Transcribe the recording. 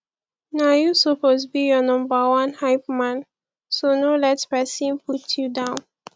na yu soppose be yur nomba one hypeman so no let pesin put yu down